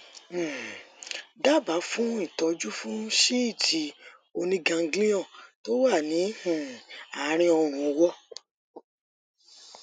um dábàá fún ìtọjú fún síìtì oníganglion tó wà ní um àárín ọrùn ọwọ